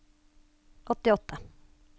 åttiåtte